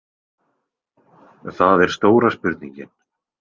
Það er stóra spurningin.